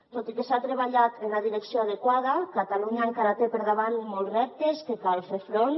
tot i que s’ha treballat en la direcció adequada catalunya encara té per davant molts reptes que cal fer hi front